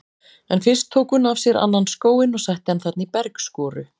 En fyrst tók hún af sér annan skóinn og setti hann þarna í bergskoru.